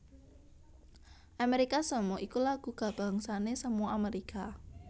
Amérika Samoa iku lagu kabangsané Samoa Amérika